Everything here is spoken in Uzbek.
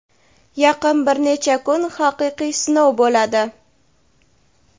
yaqin bir necha kun haqiqiy sinov bo‘ladi.